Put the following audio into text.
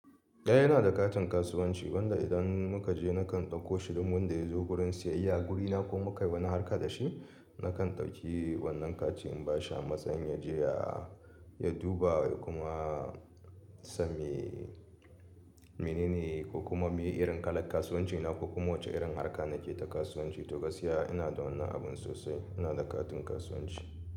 Eh ina da katin kasuwanci, wanda idan muka je nakan ɗauko shi, dun wanda ya zo gurin siyayya guri na ko muka yi wani harka da shi nakan ɗauki wannan kaci in ba shi a matsayin ya je ya, ya duba kuma sa me, mene ne ko kuma muyi irin kalan kasuwanci na ko kuma wace irin harka nake ta kasuwanci. To gaskiya ina da wannan abun sosai, ina da katin kasuwanci.